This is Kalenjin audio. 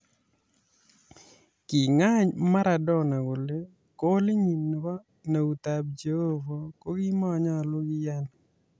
King'any Maradona kole goolinyin nebo "neutab Jehovah" kogimonyolu kiyaan.